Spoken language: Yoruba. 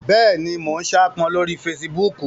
Bẹ́ẹ̀ni, mo n saápọn lórí fesibúùkù